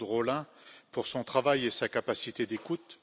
Claude Rolin, pour son travail et sa capacité d'écoute.